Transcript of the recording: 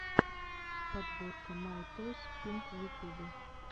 подборка май тойс пинк в ютюбе